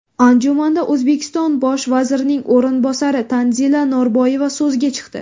Anjumanda O‘zbekiston bosh vazirining o‘rinbosari Tanzila Norboyeva so‘zga chiqdi.